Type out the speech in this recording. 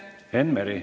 Enn Meri.